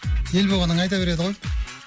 ел болғаннан кейін айта береді ғой